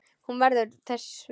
Hún verður þess vör.